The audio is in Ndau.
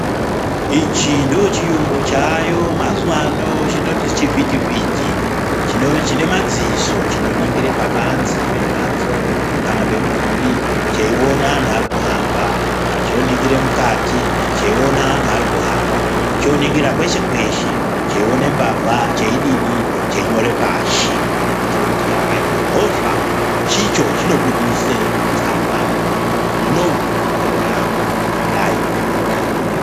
Ichi ndicho chiyungu chaayo mazuwa ano chinoti chivhitivhiti chinemadziso chinoningira pabanzi pemhatso, kana pemidhuri cheiona anhu arikuhamba chinoningire mukati cheione anhu arikuhamba choningira kweshe kweshe cheione mbavha cheidini cheinyore pashi , kuitire kuti kukaitwe mhosva icho chinobuse tsamba yekuti muntu unowu wakauye apa akadai akadai ngezuwa rakati, nguwa dzakati...